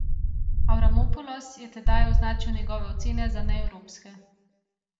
Avramopulos je tedaj označil njegove ocene za neevropske.